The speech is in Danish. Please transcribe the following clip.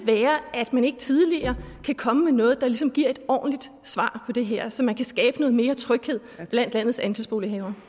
at man ikke tidligere kan komme med noget der ligesom giver et ordentligt svar på det her så man kan skabe noget mere tryghed blandt landets andelsbolighavere